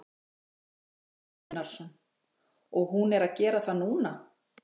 Kristján Már Unnarsson: Og hún er að gera það núna?